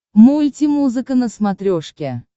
мульти музыка на смотрешке